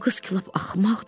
Bu qız ki lap axmaqdır.